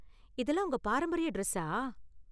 இதெல்லாம் உங்க பாரம்பரிய டிரஸ்ஸா?